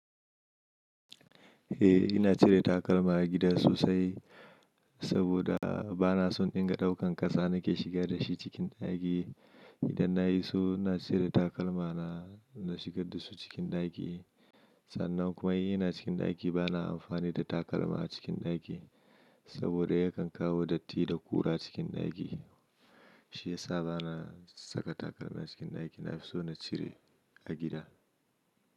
Eh ina cire takalma a gida sosai saboda bana son in dinga daukan ƙasa nake shiga da shi cikin ɗaki. Idan na yi so ina cire takalma na, na shiga da su cikin ɗaki. Sannan kuma ina cikin ɗaki bana amfani da takalma a cikin ɗaki saboda yakan kawo datti da ƙura cikin ɗaki. Shi yasa bana saka takalma a cikin ɗaki, na fi so na cire a gida.